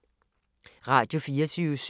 Radio24syv